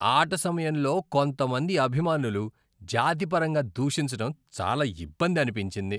ఆట సమయంలో కొంతమంది అభిమానులు జాతిపరంగా దూషించటం చాలా ఇబ్బంది అనిపించింది.